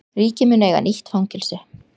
Ríkið mun eiga nýtt fangelsi